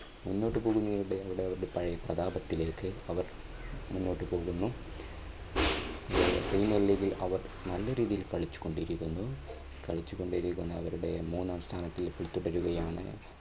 മുന്നോട്ടുപോവുകയാണ് അവർ അവരുടെ പഴയ പ്രതാപത്തിലേക്ക് അവർ മുന്നോട്ടു പോകുന്നു. premier league ൽ അവർ നല്ല രീതിയിൽ കളിച്ചു കൊണ്ടിരിക്കുന്നു. കളിച്ചുകൊണ്ടിരിക്കുന്ന അവരുടെ മൂന്നാം സ്ഥാനത്ത് ഇപ്പോൾ തുടരുകയാണ്.